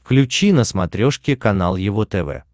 включи на смотрешке канал его тв